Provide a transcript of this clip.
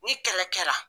Ni kɛlɛ kɛra